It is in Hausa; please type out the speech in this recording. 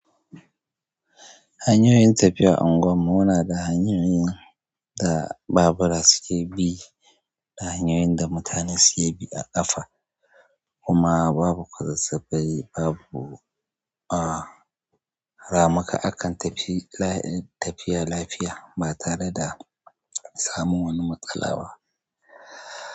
Hanyoyin tafiya unguwanmu muna da hanyaye da babura suke bi da hanyoyin da mutane suke bi a ƙafa kuma babu kwasan safai babu a ramuka. Akan tafi lafi, tafiya lafiya ba tare da samun wani matsala ba.